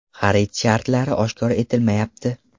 Xarid shartlari oshkor etilmayapti.